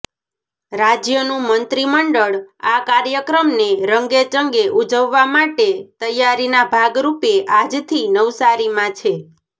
રાજ્યનું મંત્રીમંડળ આ કાર્યક્રમને રંગેચંગે ઉજવવા માટે તૈયારીના ભાગરૂપે આજથી નવસારીમાં છે